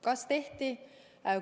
Kas tehti?